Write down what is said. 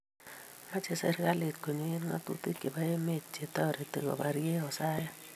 mache serikalit konyo ak ngatutik chebo emet che tareti koparie asoya